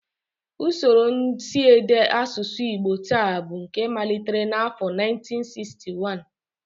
Usoro nsiede asụsụ Igbo taa bụ nke malitere n'afọ 1961